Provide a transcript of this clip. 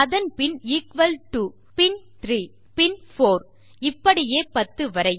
அதன் பின் எக்குவல் 2 பின் 3 பின் 4 இப்படியே 10 வரை